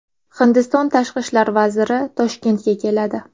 Hindiston tashqi ishlar vaziri Toshkentga keladi.